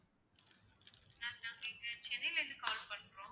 ma'am நாங்க இங்க சென்னைல இருந்து call பண்றோம்